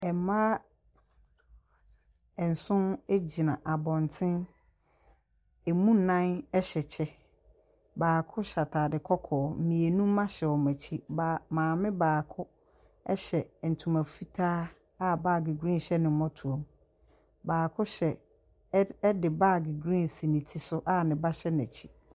Mmaa nson gyina abɔntene. Emu nnan hyɛ kyɛ, baako hyɛ ataade kɔkɔɔ. mmienu mma hyɛ wɔn akyi. Baa maame baako hyɛ ntoma fitaa a baage green hyɛ ne mmɔtoam. Baako hyɛ ɛd ɛde baage green si ne ti so a ne ba hyɛ n’akyi.